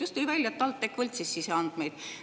Just tuli välja, et TalTech võltsis siseandmeid.